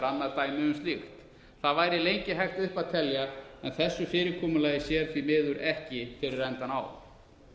annað dæmi um slíkt það væri lengi hægt upp að telja en þessu fyrirkomulagi sér því miður ekki fyrir endann á